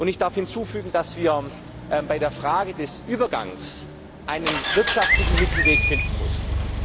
Ich darf hinzufügen, dass wir bei der Frage des Übergangs einen wirtschaftlichen Mittelweg finden mussten.